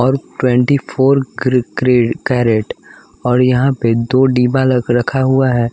और twenty four carat और यहां पर दो डब्बा रखा हुआ है।